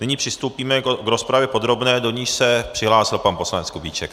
Nyní přistoupíme k rozpravě podrobné, do níž se přihlásil pan poslanec Kubíček.